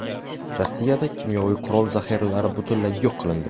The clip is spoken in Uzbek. Rossiyada kimyoviy qurol zaxiralari butunlay yo‘q qilindi .